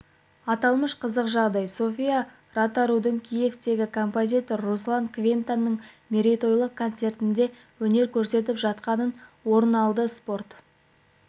аталмыш қызық жағдай софия ротарудың киевтегі композитор руслан квинтаның мерейтойлық концертіндеөнер көрсетіп жатқанында орын алды спорт